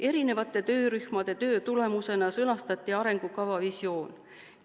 Erinevate töörühmade töö tulemusena sõnastati arengukava visioon.